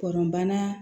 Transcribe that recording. Kɔnɔnana